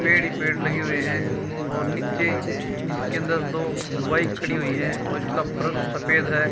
पेड़ ही पेड़ लगे हुए हैं और नीचे इसके अंदर दो बाइक खड़ी हुई हैं और इसका फर्स सफेद है।